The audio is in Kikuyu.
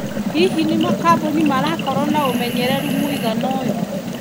Hihi nĩ makambũni marakorwo na ũmenyereru mũigana ũyũ?